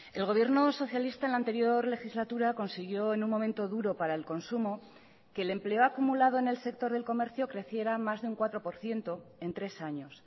el gobierno socialista en la anterior legislatura consiguió en un momento duro para el consumo que el empleo acumulado en el sector del comercio creciera más de un cuatro por ciento en tres años